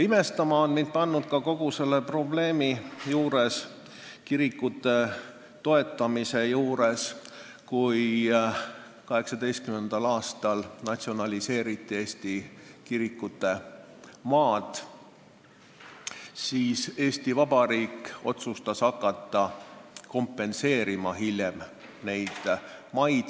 Imestama on mind pannud kogu selle probleemi puhul, kirikute toetamise puhul ka see, et kui 1918. aastal Eesti kirikute maad natsionaliseeriti, siis Eesti Vabariik otsustas hiljem hakata neid maid kompenseerima.